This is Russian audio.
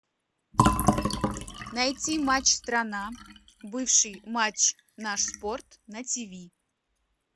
найти матч страна бывший матч наш спорт на ти ви